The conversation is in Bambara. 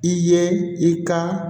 I ye i ka